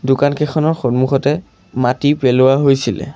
দোকানকেইখনৰ সন্মুখতে মাটি পেলোৱা হৈছিলে।